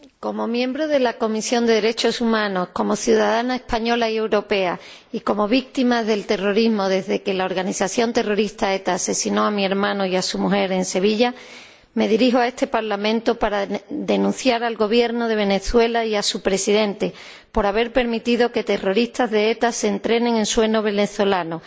Señora Presidenta, como miembro de la Comisión de Derechos Humanos, como ciudadana española y europea y como víctima del terrorismo desde que la organización terrorista ETA asesinó a mi hermano y a su mujer en Sevilla, me dirijo a este Parlamento para denunciar al Gobierno de Venezuela y a su presidente por haber permitido que terroristas de ETA se entrenen en suelo venezolano